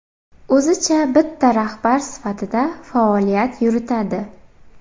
O‘zicha bitta rahbar sifatida faoliyat yuritadi.